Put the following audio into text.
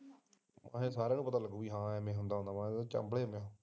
ਨਾਲੇ ਸਾਰਿਆਂ ਨੂੰ ਪਤਾ ਲੱਗੂਗਾ ਸਾਲੇ ਚਾਂਭਲੇ ਪਏ ਐ